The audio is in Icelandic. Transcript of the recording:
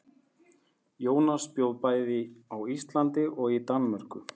Jónas bjó bæði á Íslandi og í Danmörku.